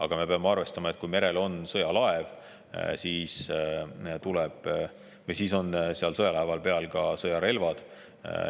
Aga me peame arvestama, et kui merel on sõjalaev, siis on seal laeva peal ka sõjarelvad.